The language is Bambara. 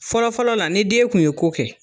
Fɔlɔfɔlɔ la ni den kun ye ko kɛ.